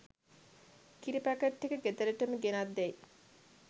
කිරි පැකට් ටික ගෙදරටම ගෙනෙත් දෙයි